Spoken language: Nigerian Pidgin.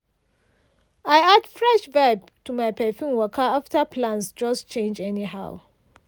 i add fresh vibe to my perfume waka after plans just change anyhow.